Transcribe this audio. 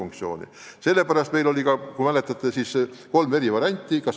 Kui te mäletate, siis ma ettekandes nimetasin kolm eri varianti.